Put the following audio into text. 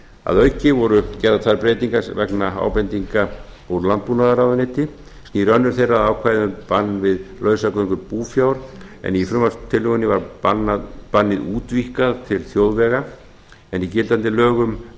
að auki voru gerðar þær breytingar vegna ábendinga úr landbúnaðarráðuneyti snýr önnur þeirra að ákvæði um bann við lausagöngu búfjár en í frumvarpstillögunni var bannið útvíkkað til þjóðvega en í gildandi lögum nær